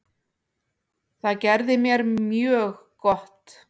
Það gerði mér mjög gott.